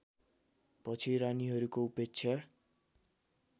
पछि रानीहरूको उपेक्षा